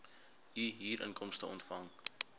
u huurinkomste ontvang